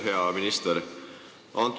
Hea minister!